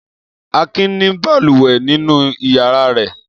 Akin ní balùwẹ̀ nínú ìyàrá rẹ̀.